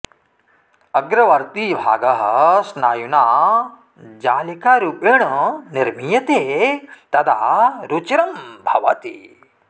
अग्रवर्ती भागः स्नायुना जालिकारुपेण निर्मीयते तदा रुचिरं भवति